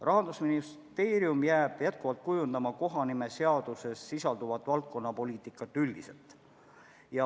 Rahandusministeerium jääb edaspidi kujundama kohanimeseaduses sisalduvat üldist valdkonnapoliitikat.